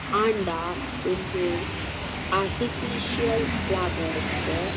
ಆಂಡ ಉಂದು artificial flowers .